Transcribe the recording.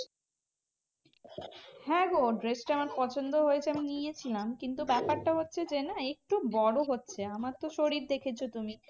হ্যাঁ গো dress টা আমার পছন্দ হয়েছে আমি নিয়েছিলাম। কিন্তু ব্যাপারটা হচ্ছে যে না একটু বড় হচ্ছে। আমারতো শরীর দেখেছো তুমি?